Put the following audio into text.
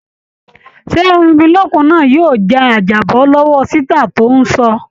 Ṣé erinmilókun náá yóò ja àjàbọ́ lọ́wọ́ ṣítà tóń ṣọ́ ọ?